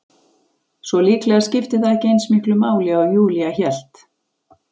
Svo líklega skipti það ekki eins miklu máli og Júlía hélt.